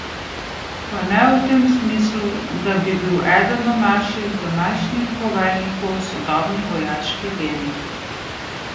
Pa ne v tem smislu, da bi bil eden od naših današnjih poveljnikov sodobni vojaški genij.